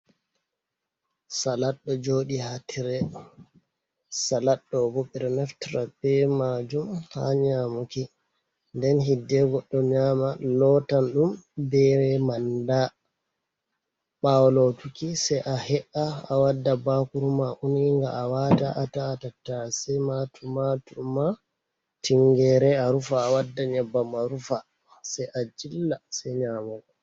Salat ɗo jooɗi ha tire. Salat ɗo bo ɓe ɗo naftira be maajum ha nyamuki. Nden hidde goɗɗo nyaama, lotan ɗum be manda. Ɓaawo lotuki sei he’a, a wadda bakuru ma uniinga a waata. A ta’a tattase ma, tumatur ma, tingere a rufa. A wadda nyebbam a rufa se a jilla se nyaamugo.